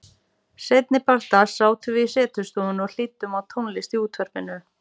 Seinnipart dags sátum við í setustofunni og hlýddum á tónlist í útvarpinu.